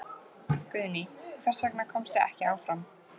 Guðný: Hvers vegna komstu ekki áfram?